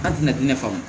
An tɛna diɲɛ ne fa o